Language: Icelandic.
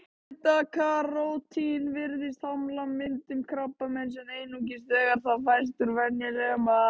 Beta-karótín virðist hamla myndun krabbameins, en einungis þegar það fæst úr venjulegum mat.